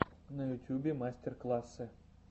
на ютьюбе мастер классы